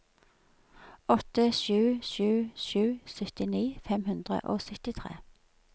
åtte sju sju sju syttini fem hundre og syttitre